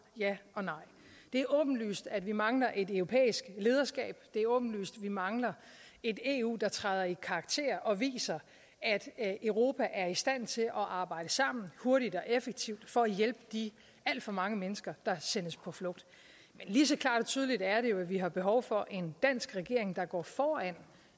ja og nej det er åbenlyst at vi mangler et europæisk lederskab det er åbenlyst at vi mangler et eu der træder i karakter og viser at europa er i stand til at arbejde sammen hurtigt og effektivt for at hjælpe de alt for mange mennesker der sendes på flugt lige så klart og tydeligt er det jo at vi har behov for en dansk regering der går foran